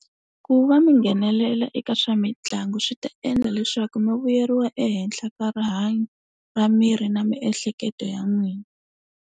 Ku va minghenelela eka swa mitlangu swi ta endla leswaku mi vuyeriwa ehenhla ka rihanyo ra miri na miehleketo ya n'wina.